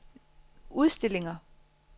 udstillinger